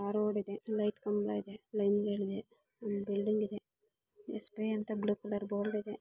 ಅಲ್ಲೊಂದು ಲೈಟ್ ಕಂಬ ಇದೆ ಎಸ್.ಬಿ.ಐ. ಅಂತ ಪಕ್ಕದಲ್ಲಿ ಬೋರ್ಡು ಇದೆ.